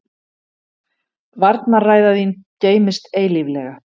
Varnarræða þín geymist eilíflega.